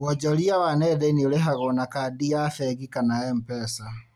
Wonjoria wa nenda-inĩ ũrihagwo na kandi ya bengi kana MPESA